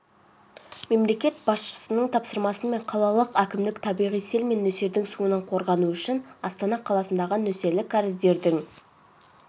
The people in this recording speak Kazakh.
мемлекет басшысының тапсырмасымен қалалық әкімдік табиғи сел мен нөсердің суынан қорғану үшін астана қаласындағы нөсерлік кәріздерінің